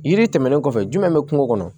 Yiri tɛmɛnen kɔfɛ jumɛn bɛ kungo kɔnɔ